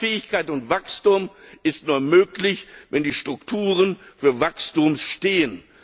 Wettbewerbsfähigkeit und Wachstum sind nur möglich, wenn die Strukturen für Wachstum stehen!